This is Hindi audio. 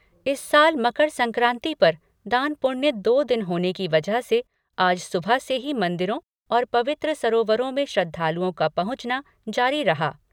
इस साल मकर संक्राति पर दान पुण्य दो दिन होने की वजह से आज सुबह से भी मन्दिरों और पवित्र सरोवरों में श्रद्धालुओं का पहुंचना जारी रहा।